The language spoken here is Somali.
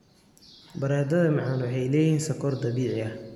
Baradhada macaan waxay leeyihiin sokor dabiici ah.